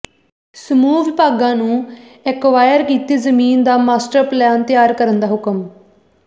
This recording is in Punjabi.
ਸਮੂਹ ਵਿਭਾਗਾਂ ਨੂੰ ਐਕਵਾਇਰ ਕੀਤੀ ਜਮੀਨ ਦਾ ਮਾਸਟਰ ਪਲਾਨ ਤਿਆਰ ਕਰਨ ਦੇ ਹੁਕਮ